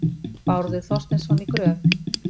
Bárður Þorsteinsson í Gröf.